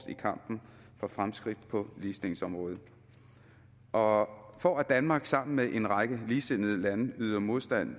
i kampen for fremskridt på ligestillingsområdet og for at danmark sammen med en række ligesindede lande yder modstand